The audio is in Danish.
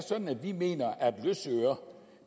sådan at vi mener at løsøre